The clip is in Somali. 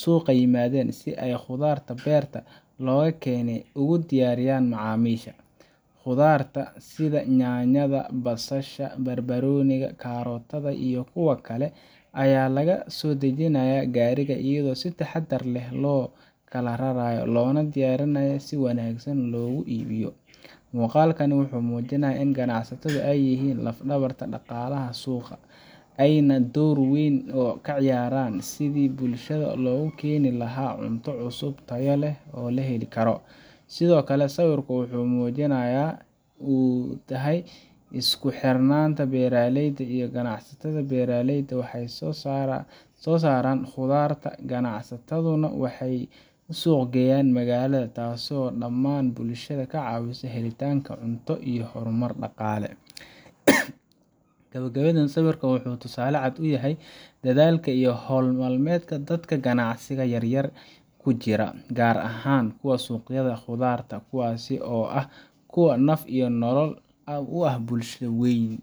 suuqa yimaadeen si ay khudaarta beerta looga keenay ugu diyaariyaan macaamiisha. Khudaarta sida yaanyada, basalsha, barbaarooniga, kaarootada, iyo kuwa kale ayaa laga soo dejinayaa gaariga iyadoo si taxadar leh loo kala rarayo, loona diyaarinayo in si wanaagsan loogu iibiyo. Muuqaalkani wuxuu muujinayaa in ganacsatadu ay yihiin laf-dhabarka dhaqaalaha suuqa, ayna door weyn ka ciyaaraan sidii bulshada loogu keeni lahaa cunto cusub, tayo leh, oo la heli karo. Sidoo kale, sawirku wuxuu muujinayaa sida ay muhiim u tahay isku xirka beeraleyda iyo ganacsatada beeraleydu waxay soo saaraan khudaarta, ganacsataduna waxay u suuq geeyaan magaalada, taasoo dhammaan bulshada ka caawisa helitaanka cunto iyo horumar dhaqaale. Gabagabadii, sawirkan wuxuu tusaale cad u yahay dadaalka iyo hawl maalmeedka dadka ganacsiga yaryar ku jira, gaar ahaan kuwa suuqyada khudaarta, kuwaasi oo ah kuwa naf iyo nolol u ah bulsho weyn.